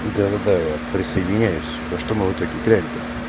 да да да я присоединяюсь во что мы в итоге играем то